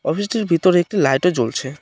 অফিসটির ভিতরে একটি লাইটও জ্বলছে।